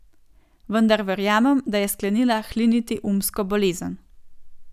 Vendar verjamem, da je sklenila hliniti umsko bolezen.